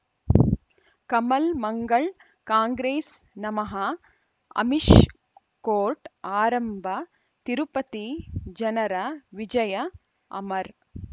ಕಮಲ್ ಮಂಗಳ್ ಕಾಂಗ್ರೆಸ್ ನಮಃ ಅಮಿಷ್ ಕೋರ್ಟ್ ಆರಂಭ ತಿರುಪತಿ ಜನರ ವಿಜಯ ಅಮರ್